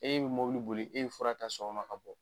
E bɛ mɔbilw boli e bɛ fura ta sɔgɔma ka bɔ.